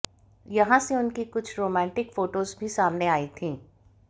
यहां से उनकी कुछ रोमांटिक फोटोज भी सामने आई थीं